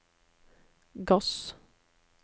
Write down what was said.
gass